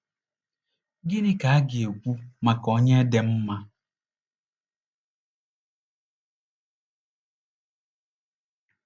Gịnị ka a ga-ekwu maka onye dị mma?